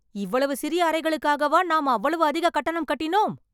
இவ்வளவு சிறிய அறைகளுக்காகவா, நான் அவ்வளவு அதிக கட்டணம் கட்டிணோம்